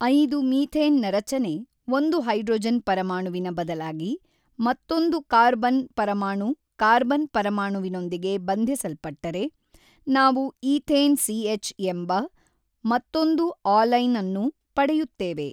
೫ methane ನ ರಚನೆ ಒಂದು ಹೈಡ್ರೊಜನ್ ಪರಮಾಣುವಿನ ಬದಲಾಗಿ ಮತ್ತೊಂದು ಕಾರ್ಬನ್ ಪರಮಾಣು ಕಾರ್ಬನ್ ಪರಮಾಣುವಿನೊಂದಿಗೆ ಬಂಧಿಸಲ್ಪಟ್ಟರೆ ನಾವು ಈಥೇನ್ ಸಿಎಚ್ ಎಂಬ ಮತ್ತೊಂದು ಆಲೈನ್ ನ್ನು ಪಡೆಯುತ್ತೇವೆ.